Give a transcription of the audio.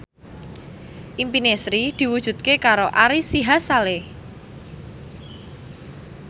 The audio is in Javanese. impine Sri diwujudke karo Ari Sihasale